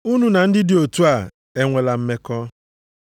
Unu na ndị dị otu a enwela mmekọ.